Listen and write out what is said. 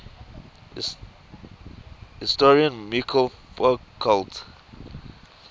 historian michel foucault